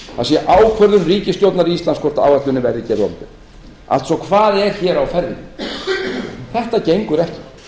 það sé ákvörðun ríkisstjórnar íslands hvort áætlunin verði gerð opinber hvað er hér á ferðinni þetta gengur ekki